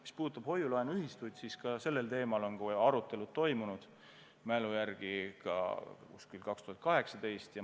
Mis puudutab hoiu-laenuühistuid, siis ka sellel teemal on arutelud toimunud, minu mälu järgi umbes 2018.